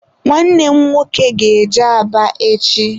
Nwanne m nwoke ga-eje Aba echi.